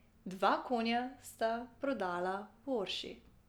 Dva konja sta prodala v Orši.